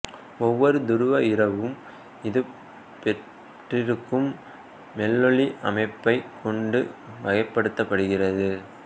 ஓவ்வொரு துருவ இரவும் அது பெற்றிருக்கும் மெல்லொளி அமைப்பைக் கொண்டு வகைப்படுத்தப்படுகிறது